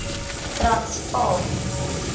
transvaal